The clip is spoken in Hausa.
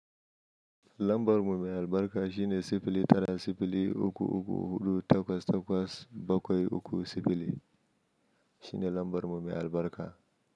Lambar mu mai albarka shine sifili tara sifili uku uku huɗu takwas takwas bakwai uku sifili shine lambar mumi albarka.